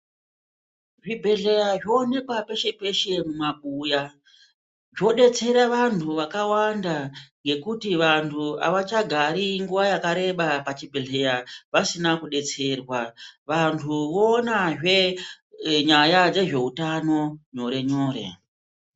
Zvibhedhleya zvoone peshe peshe mumabuya. Zvodetsere vantu vakawanda ngekuti vantu avachagari nguwa yakareba pachibhedhlera vasina kudetserwa. Vantu voonazve nyaya dzezveutano nyore nyore.